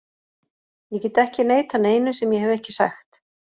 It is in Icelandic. Ég get ekki neitað neinu sem ég hef ekki sagt.